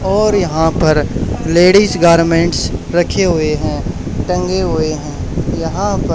और यहां पर लेडीज गारमेंट्स रखे हुए है टंगे हुए हैं यहां प--